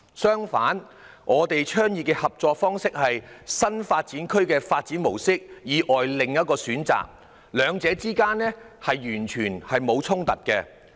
相反，我們倡議的合作方式，是新發展區的發展模式以外的另一選擇，兩者之間完全沒有衝突。